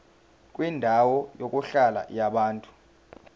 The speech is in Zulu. kwendawo yokuhlala yabantu